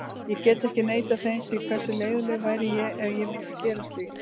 Ég get ekki neitað þeim því, hversu leiðinlegur væri ég ef ég myndi gera slíkt?